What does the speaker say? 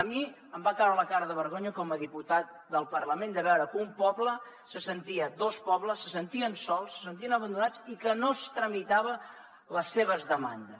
a mi em va caure la cara de vergonya com a diputat del parlament de veure que dos pobles se sentien sols se sentien abandonats i que no es tramitaven les seves demandes